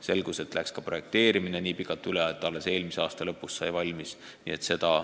Selgus aga, et juba projekteerimine läks nii pikalt üle tähtaja, et sai alles eelmise aasta lõpus valmis.